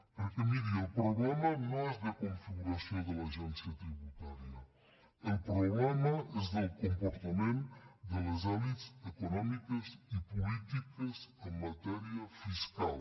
perquè miri el problema no és de configuració de l’agència tributària el problema és del comportament de les elits econòmiques i polítiques en matèria fiscal